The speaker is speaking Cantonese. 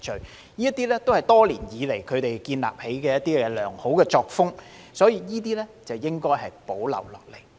這些都是他們多年來建立的良好作風，所以應予保留。